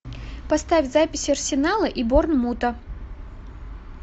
поставь запись арсенала и борнмута